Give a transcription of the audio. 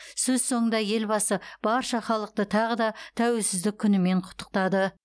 сөз соңында елбасы барша халықты тағы да тәуелсіздік күнімен құттықтады